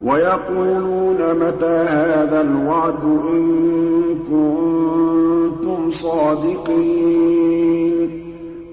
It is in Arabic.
وَيَقُولُونَ مَتَىٰ هَٰذَا الْوَعْدُ إِن كُنتُمْ صَادِقِينَ